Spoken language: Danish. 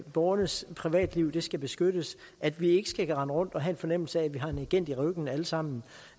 borgernes privatliv skal beskyttes at vi ikke skal rende rundt og have en fornemmelse af at vi har en agent i ryggen alle sammen